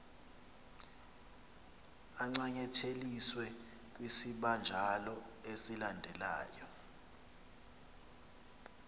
ancanyatheliswe kwisibanjalo esilandelyo